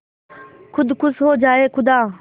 खुद खुश हो जाए खुदा